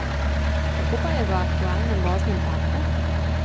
Kako pa je v aktualnem voznem parku?